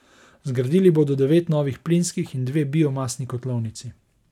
Zgradili bodo devet novih plinskih in dve biomasni kotlovnici.